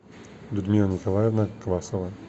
людмила николаевна квасова